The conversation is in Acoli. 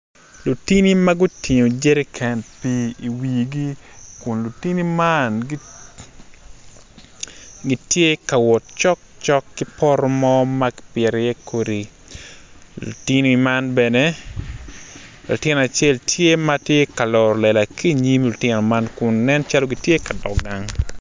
Lutini ma gutingo Jere can pii i wigi kun lutini man gitye ka wot cokcok ki poto mo ma kipito iye kodi.